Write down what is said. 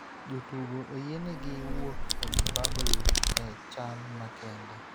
Jotugo oyienegi wuok e bubble e chal makende